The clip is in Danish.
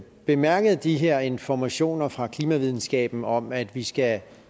bemærket de her informationer fra klimavidenskaben om at vi skal